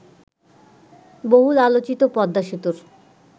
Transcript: বহুল আলোচিত পদ্মা সেতুর